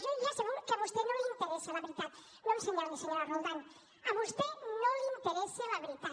jo ja sé que a vostè no li interessa la veritat no m’assenyali senyora roldán a vostè no li interessa la veritat